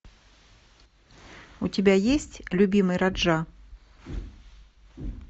у тебя есть любимый раджа